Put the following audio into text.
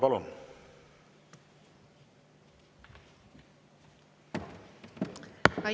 Palun!